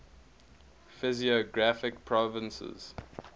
physiographic provinces